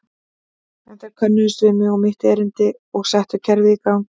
En þeir könnuðust við mig og mitt erindi og settu kerfið í gang.